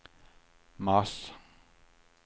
mars